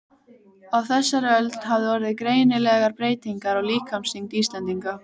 Á þessari öld hafa orðið greinilegar breytingar á líkamsþyngd Íslendinga.